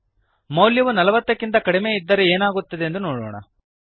ಮೌಲ್ಯವು ನಲವತ್ತಕ್ಕಿಂತ ಕಡಿಮೆ ಇದ್ದರೆ ಏನಾಗುತ್ತದೆಂದು ನೋಡೋಣ